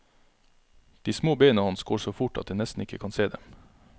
De små bena hans går så fort at en nesten ikke kan se dem.